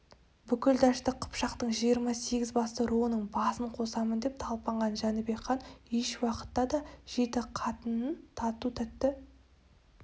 бүкіл дәшті қыпшақтың жиырма сегіз басты руының басын қосамын деп талпынған жәнібек хан ешуақытта да жеті қатынын тату-тәтті